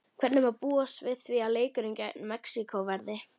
Hvernig má búast við því að leikurinn gegn Mexíkó verði?